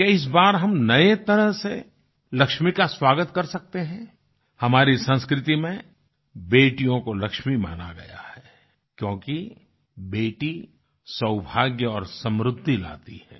क्या इस बार हम नए तरह से लक्ष्मी का स्वागत कर सकते हैं हमारी संस्कृति में बेटियों को लक्ष्मी माना गया है क्योंकि बेटी सौभाग्य और समृद्धि लाती है